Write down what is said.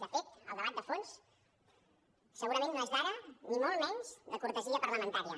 de fet el debat de fons segurament no és d’ara ni molt menys de cortesia parlamentària